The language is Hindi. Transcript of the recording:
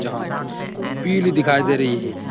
जहाँ पीली दिखाई दे रही है।